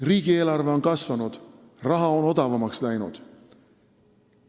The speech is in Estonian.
Riigieelarve on kasvanud, raha on odavamaks läinud.